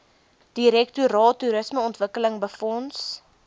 direktoraat toerismeontwikkeling befonds